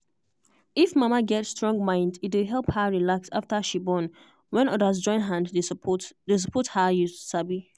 if mama get strong mind e dey help her relax after she born when others join hand dey support dey support her you sabi.